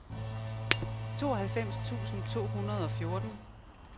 tooghalvfems tusind to hundrede og fjorten